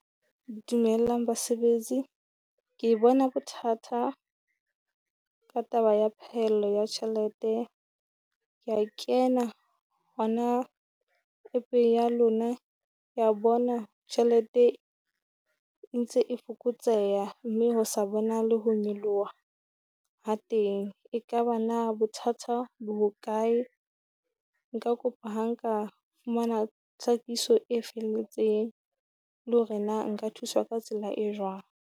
Dumelang basebetsi, ke bona bothata ka taba ya phaello ya tjhelete. Kea kena hona app-eng ya lona kea bona tjhelete e ntse e fokotseha, mme ho sa bonahale ho nyoloha ha teng. Ekaba na bothatha bo hokae? Nka kopa ha nka fumana tlhakiso e felletseng le hore na nka thuswa ka tsela e jwang.